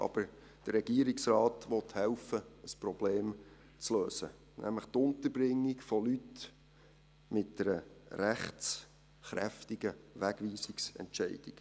Aber der Regierungsrat will helfen, das Problem zu lösen, nämlich die Unterbringung von Leuten mit einer rechtskräftigen Wegweisungsentscheidung.